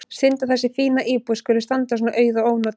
Synd að þessi fína íbúð skuli standa svona auð og ónotuð.